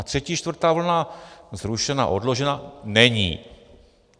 A třetí, čtvrtá vlna zrušena, odložena není.